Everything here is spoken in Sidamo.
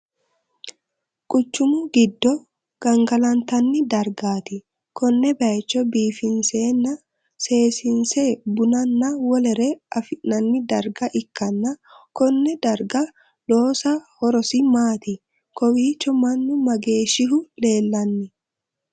Quchumu gido gangalantanni dargati konne bayicho biifinsenna seesiinse bunnanna wolere afi'nanni darga ikkanna Kone darga loosa horosi maati? Kowicho Manu mageeshihu leelanni?